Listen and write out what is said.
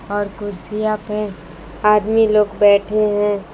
और कुर्सियां पे आदमी लोग बैठे हैं।